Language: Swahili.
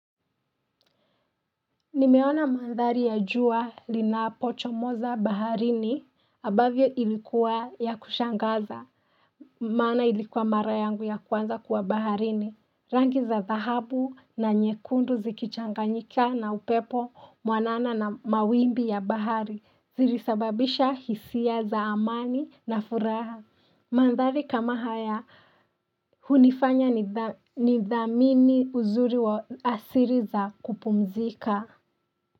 Nimeona mandhari ya jua lina pocho moza baharini, abavyo ilikuwa ya kushangaza, mana ilikuwa mara yangu ya kuanza kuwa baharini. Rangi za zahabu na nyekundu zikichanganyika na upepo mwanana na mawimbi ya bahari zilisababisha hisia za amani na furaha. Mandhari kama haya hunifanya ni dhamini uzuri wa asiri za kupumzika.